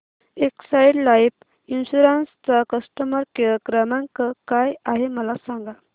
Exide life insurance चा customer care क्रमांक काय आहे मला सांगा